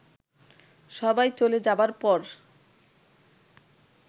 সবাই চলে যাবার পর